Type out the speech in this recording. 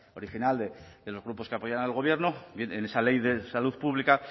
original de los grupos que apoyan al gobierno bien en esa ley de salud pública